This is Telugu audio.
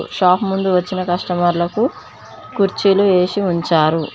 షాప్ ముందు వచ్చిన కష్టమర్లకు కుర్చీలు వేసి ఉంచారు.